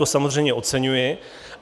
To samozřejmě oceňuji.